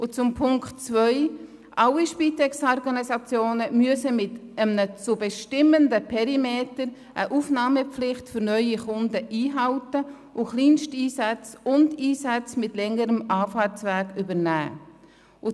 Zu Punkt 2: Alle Spitex-Organisationen müssen in einem zu bestimmenden Perimeter eine Aufnahmepflicht für neue Kunden einhalten und Kleinsteinsätze sowie Einsätze mit längerem Anfahrtsweg übernehmen.